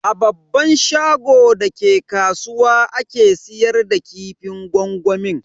A babban shagon da ke kasuwa ake siyar da kifin gwangwamin.